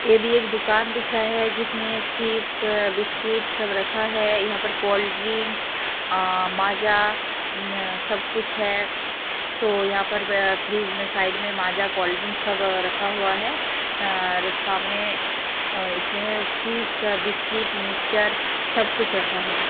ये भी एक दुकान दिख रहा है जिसमें चिप्स बिस्किट सब रखा है यहां पर कोल्ड ड्रिंक अ माजा न सब कुछ है तो यहां पर व फ्रिज में साइड में माजा कोल्ड ड्रिंक सब रखा हुआ है अ सामने अ इसमें चिप्स बिस्किट मिक्चर सब कुछ रखा है।